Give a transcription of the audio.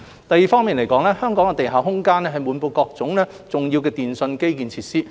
第二，香港的地下空間滿布重要電訊基建設施。